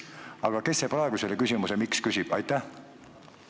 Aga kes praegu küsimuse "miks?" esitab?